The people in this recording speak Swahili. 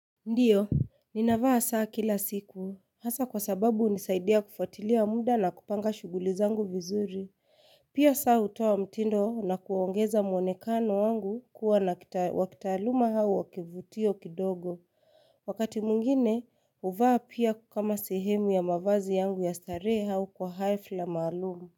Ndio, ninavaa saa kila siku hasa kwa sababu unisaidia kufuatilia wa muda na kupanga shughuli zangu vizuri, pia saa utoa mtindo na kuwaongeza mwonekano wangu kuwa wakitaluma hau wakivutio kidogo, wakati mwingine uvaa pia kama sehemu ya mavazi yangu ya starehe au kwa hafla maalumu.